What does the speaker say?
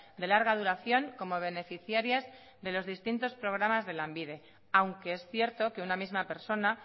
de larga duración como beneficiarias de los distintos programas de lanbide aunque es cierto que una misma persona